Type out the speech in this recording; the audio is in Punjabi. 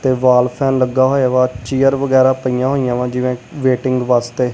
ਤੇ ਵਾਲ ਫੈਨ ਲੱਗਾ ਹੋਇਆ ਚੇਅਰ ਵਗੈਰਾ ਪਈਆਂ ਹੋਈਆਂ ਵਾ ਜਿਵੇਂ ਵੇਟਿੰਗ ਵਾਸਤੇ।